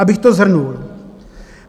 Abych to shrnul.